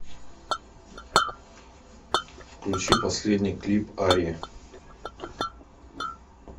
включи последний клип арии